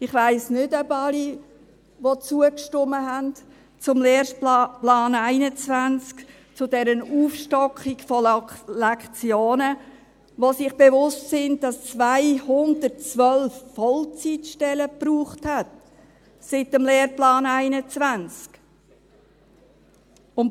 Ich weiss nicht, ob sich alle, die dem Lehrplan 21, dieser Aufstockung der Lektionenzahl, zugestimmt haben, bewusst sind, dass es 212 zusätzliche Vollzeitstellen gebraucht hat, seit man den Lehrplan 21 eingeführt hat.